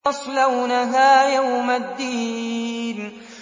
يَصْلَوْنَهَا يَوْمَ الدِّينِ